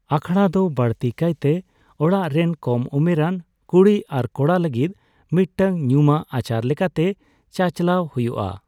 ᱟᱠᱷᱲᱟ ᱫᱚ ᱵᱟᱹᱲᱛᱤ ᱠᱟᱭ ᱛᱮ ᱚᱲᱟᱜ ᱨᱮᱱ ᱠᱚᱢ ᱩᱢᱮᱨᱟᱱ ᱠᱩᱲᱤ ᱟᱨ ᱠᱚᱲᱟ ᱞᱟᱹᱜᱤᱫ ᱢᱤᱫᱴᱟᱝ ᱧᱩᱢᱟᱝ ᱟᱪᱟᱨ ᱞᱮᱠᱟᱛᱮ ᱪᱟᱼᱪᱟᱞᱟᱣ ᱦᱩᱭᱩᱜᱼᱟ ᱾